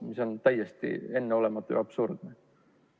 See on täiesti enneolematu ja absurdne.